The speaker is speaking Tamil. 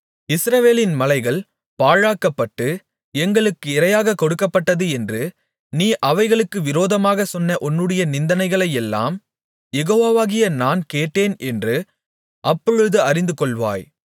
இஸ்ரவேலின் மலைகள் பாழாக்கப்பட்டு எங்களுக்கு இரையாகக் கொடுக்கப்பட்டது என்று நீ அவைகளுக்கு விரோதமாகச் சொன்ன உன்னுடைய நிந்தனைகளையெல்லாம் யெகோவாகிய நான் கேட்டேன் என்று அப்பொழுது அறிந்துகொள்வாய்